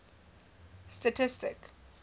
statistic